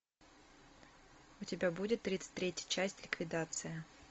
у тебя будет тридцать третья часть ликвидация